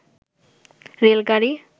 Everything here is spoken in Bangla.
রেল গাড়ি